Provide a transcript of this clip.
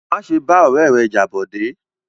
Má ṣe bá ọ̀rẹ́ rẹ jà Bọ̀dé!